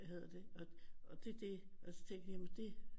Og det det og så tænker jeg jamen det